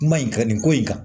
Ma in ka nin ko in kan